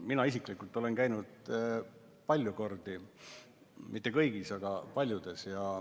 Mina isiklikult olen kohal käinud palju kordi, küll mitte kõigis farmides, aga paljudes.